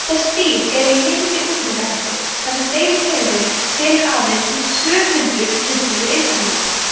þessi dýr eru í mikilli útrýmingarhættu þar sem deilitegundin telur aðeins tvö hundruð tuttugu einstaklinga